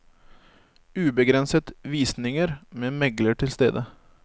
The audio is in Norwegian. Ubegrenset visninger med megler til stede.